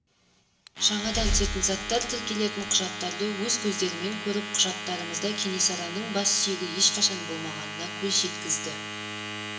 жаңадан түсетін заттар тіркелетін құжаттарды өз көздерімен көріп құжаттарымызда кенесарының бассүйегі ешқашан болмағанына көз жеткізді